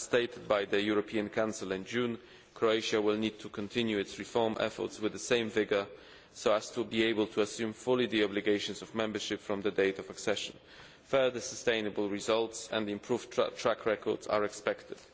As stated by the European Council in June, Croatia will need to continue its reform efforts with the same vigour so as to be able to assume fully the obligations of membership from the date of accession. Further sustainable results and improved track records are expected.